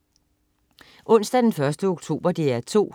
Onsdag den 1. oktober - DR 2: